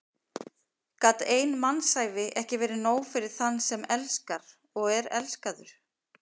Gat ein mannsævi ekki verið nóg fyrir þann sem elskar og er elskaður?